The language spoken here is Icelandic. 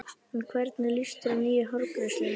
En hvernig líst þér á nýju hárgreiðsluna?